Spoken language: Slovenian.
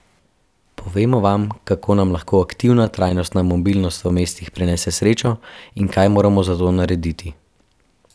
Povemo vam, kako nam lahko aktivna trajnostna mobilnost v mestih prinese srečo in kaj moramo za to narediti.